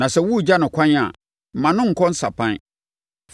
Na sɛ woregya no ɛkwan a, mma no nkɔ nsapan.